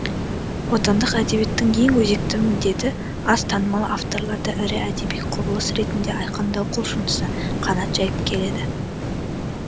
отандық әдебиеттің ең өзекті міндеті аз танымал авторларды ірі әдеби құбылыс ретінде айқындау құлшынысы қанат жайып келеді